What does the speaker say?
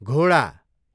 घोडा